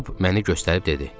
Job məni göstərib dedi.